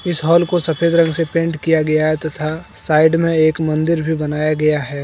इस हाल को सफेद रंग से पेंट किया गया है तथा साइड में एक मंदिर भी बनाया गया है।